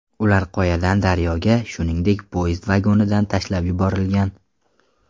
Ular qoyadan daryoga, shuningdek, poyezd vagonidan tashlab yuborilgan.